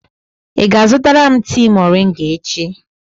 Ị ga-azụtara m tii moringa echi?